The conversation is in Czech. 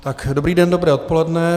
Dobrý den, dobré odpoledne.